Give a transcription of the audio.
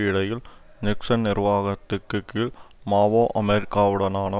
இடையில் நிக்சன் நிர்வாகத்தின் கீழ் மாவோ அமெரிக்காவுடனான